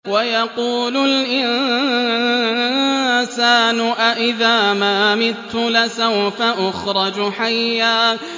وَيَقُولُ الْإِنسَانُ أَإِذَا مَا مِتُّ لَسَوْفَ أُخْرَجُ حَيًّا